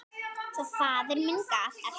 Svo faðir minn gaf eftir!